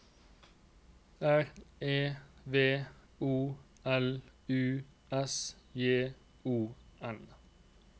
R E V O L U S J O N